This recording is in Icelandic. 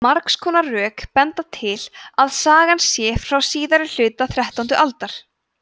margs konar rök benda til að sagan sé frá síðari hluta þrettándu aldar